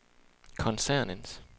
koncernens